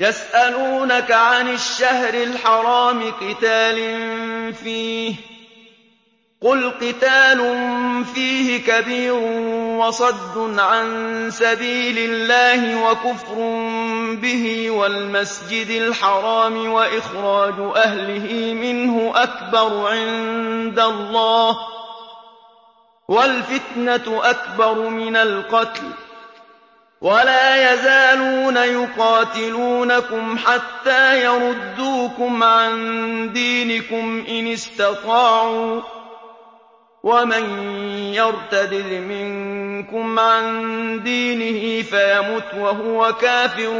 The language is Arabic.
يَسْأَلُونَكَ عَنِ الشَّهْرِ الْحَرَامِ قِتَالٍ فِيهِ ۖ قُلْ قِتَالٌ فِيهِ كَبِيرٌ ۖ وَصَدٌّ عَن سَبِيلِ اللَّهِ وَكُفْرٌ بِهِ وَالْمَسْجِدِ الْحَرَامِ وَإِخْرَاجُ أَهْلِهِ مِنْهُ أَكْبَرُ عِندَ اللَّهِ ۚ وَالْفِتْنَةُ أَكْبَرُ مِنَ الْقَتْلِ ۗ وَلَا يَزَالُونَ يُقَاتِلُونَكُمْ حَتَّىٰ يَرُدُّوكُمْ عَن دِينِكُمْ إِنِ اسْتَطَاعُوا ۚ وَمَن يَرْتَدِدْ مِنكُمْ عَن دِينِهِ فَيَمُتْ وَهُوَ كَافِرٌ